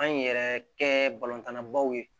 An yɛrɛ kɛ balontanna baw ye